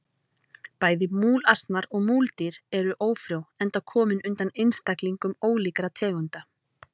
Bæði múlasnar og múldýr eru ófrjó enda komin undan einstaklingum ólíkra tegunda.